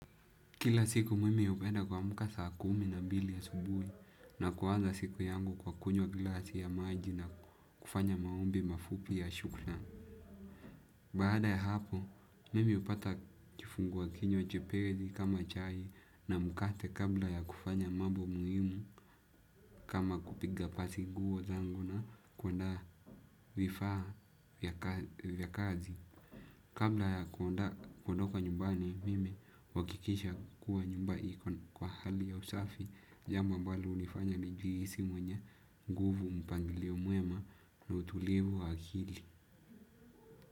Kila siku mimi hupenda kuamka saa kumi na mbili asubuhi na kuanza siku yangu kwa kunywa glasi ya maji na kufanya maombi mafupi ya shukrani. Baada ya hapo, mimi hupata kifunguakinywa chepesi kama chai na mkate kabla ya kufanya mambo muhimu kama kupiga pasi nguo zangu na kuandaa vifaa vya kazi. Kabla ya kuondoka nyumbani mimi uhakikisha kuwa nyumba iko kwa hali ya usafi jambo ambalo hunifanya nijihisi mwenye nguvu mpangilio mwema na utulivu wa akili.